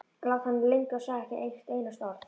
Lá þannig lengi og sagði ekki eitt einasta orð.